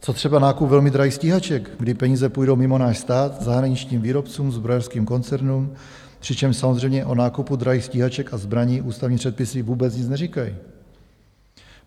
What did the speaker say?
Co třeba nákup velmi drahých stíhaček, kdy peníze půjdou mimo náš stát zahraničním výrobcům, zbrojařským koncernům, přičemž samozřejmě o nákupu drahých stíhaček a zbraní ústavní předpisy vůbec nic neříkají?